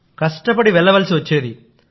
కష్టపడి వెళ్ళవలసి వచ్చేది